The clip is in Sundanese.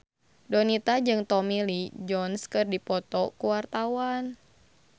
Donita jeung Tommy Lee Jones keur dipoto ku wartawan